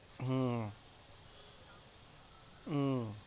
হম উহ